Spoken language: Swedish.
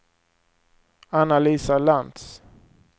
Anna-Lisa Lantz